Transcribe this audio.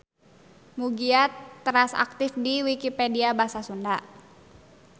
Mugia teras aktif di Wikipedia Basa Sunda.